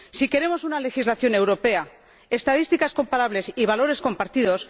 Sí queremos una legislación europea, estadísticas comparables y valores compartidos.